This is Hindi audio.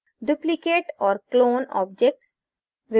duplicate और clone objects